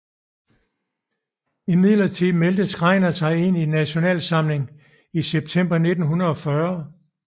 Imidlertid meldte Schreiner sig ind i Nasjonal Samling i september 1940